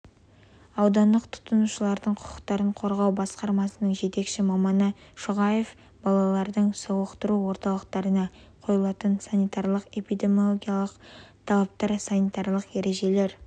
аудандық тұтынушылардың құқықтарын қорғау басқармасының жетекші маманы шұғаев балалардың сауықтыру орталықтарына қойылатын санитарлық-эпидемиологиялық талаптар санитарлық ережелері